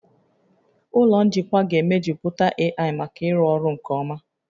Ụlọ njikwa ga-emejuputa AI maka ịrụ ọrụ nke ọma